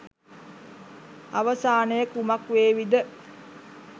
අවසානය කුමක් වේවිද